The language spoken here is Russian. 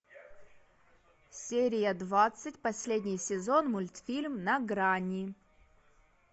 серия двадцать последний сезон мультфильм на грани